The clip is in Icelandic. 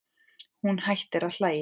Hún hættir að hlæja.